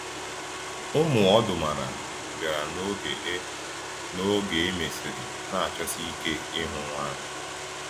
Ụmụ ọdụmara bịara n’oge e n’oge e mesịrị, na-achọsi ike ịhụ nwa ahụ.